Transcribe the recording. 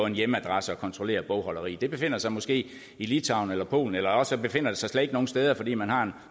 en hjemmeadresse og kontrollere bogholderiet det befindes sig måske i litauen eller polen eller også befinder det sig slet ikke nogen steder fordi man har en